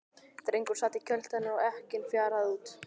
Drengur sat í kjöltu hennar og ekkinn fjaraði út.